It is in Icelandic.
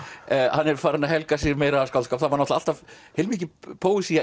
hann er farinn að helga sig meira að skáldskap það var alltaf heilmikil